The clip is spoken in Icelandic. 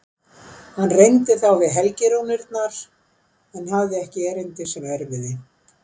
Hann reyndi þá við helgirúnirnar en hafði ekki erindi sem erfiði.